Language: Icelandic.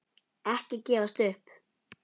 Ekki gefast upp!